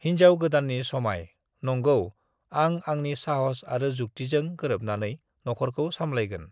"हिनजाव गोदाननि समाय: नंगौ, आं आंनि साहस आरो जुक्तिजों गोरोबनानै नखरखौ सामलायगोन।"